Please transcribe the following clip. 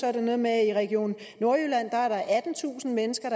er noget med at i region nordjylland er der attentusind mennesker